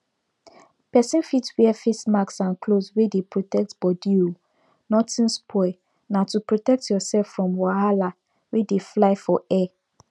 person fit wear face mask and cloth wey dey protect body o nothing spoil na to protect yourself from wahala wey dey fly for air